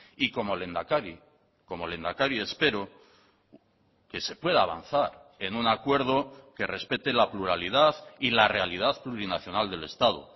y como lehendakari como lehendakari espero que se pueda avanzar en un acuerdo que respete la pluralidad y la realidad plurinacional del estado